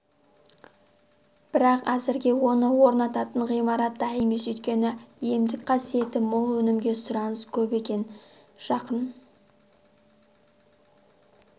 бірақ әзірге оны орнататын ғимарат дайын емес өйткені емдік қасиеті мол өнімге сұраныс көп екен жақын